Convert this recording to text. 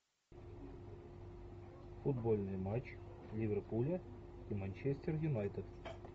футбольный матч ливерпуля и манчестер юнайтед